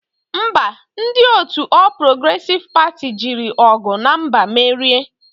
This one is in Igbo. Ḿbà, ndi otu All Progressive Party jiri ogu na mgba merie.